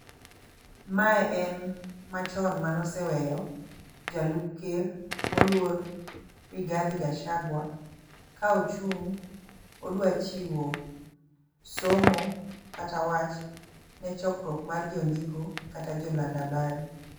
Me en machon maneoseweyo jalup ker moluor Rigadhi Gachagua ka ochung' odwachiwo somo kata wach ne chokruok mar jondiko kata joland habari